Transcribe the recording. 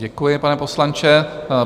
Děkuji, pane poslanče.